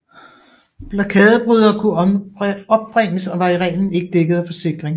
Blokadebrydere kunne opbringes og var i reglen ikke dækket af forsikring